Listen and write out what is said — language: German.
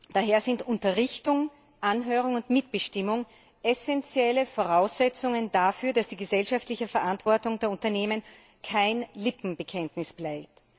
Daher sind Unterrichtung, Anhörung und Mitbestimmung essenzielle Voraussetzungen dafür, dass die gesellschaftliche Verantwortung der Unternehmen kein Lippenbekenntnis bleibt.